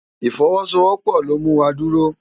Ifòwòsówòpò ló mú wá dúró